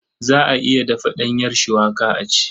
Za a iya dafa ɗanyar cuwaka a ci.